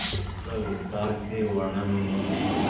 इसका विस्तार से वर्णन उन्होंने